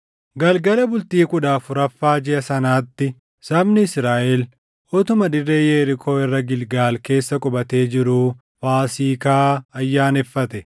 Galgala bultii kudha afuraffaa jiʼa sanaatti sabni Israaʼel utuma dirree Yerikoo irra Gilgaal keessa qubatee jiruu Faasiikaa ayyaaneffate.